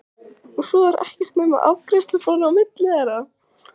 Og svo er ekkert nema afgreiðsluborðið á milli þeirra.